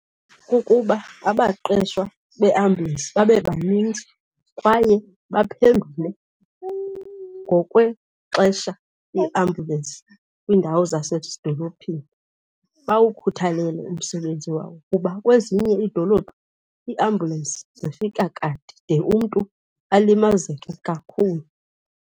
Kukuba abaqeshwa beambyulensi babebaninzi kwaye baphendule ngokwexesha iambyulensi kwiindawo zasezidolophini, bawukhuthalele umsebenzi wawo kuba kwezinye iidolophu iambyulensi zifika kade de umntu alimazeke kakhulu.